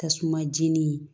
Tasuma jeni